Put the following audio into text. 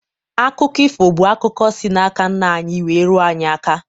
Akụkọ ifo bụ akụkọ si n'aka nna anyị wee ruo anyị aka.